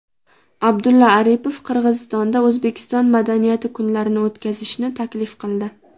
Abdulla Aripov Qirg‘izistonda O‘zbekiston madaniyati kunlarini o‘tkazishni taklif qildi.